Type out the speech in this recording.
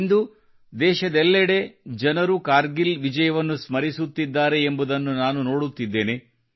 ಇಂದು ದೇಶದೆಲ್ಲೆಡೆ ಜನರು ಕಾರ್ಗಿಲ್ ವಿಯಜವನ್ನು ಸ್ಮರಿಸುತ್ತಿದ್ದಾರೆ ಎಂಬುದನ್ನು ನಾನು ನೋಡುತ್ತಿದ್ದೇನೆ